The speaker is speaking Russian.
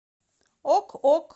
ок ок